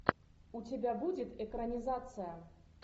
у тебя будет экранизация